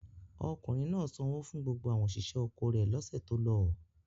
Ọkùnrin náà sanwó fún gbogbo àwọn òṣìṣẹ́ oko rẹ̀ lọ́sẹ̀ tó lọ?